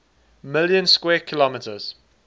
million square kilometers